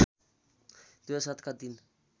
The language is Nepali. २००७ का दिन